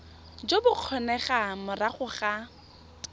jo bo kgonegang morago ga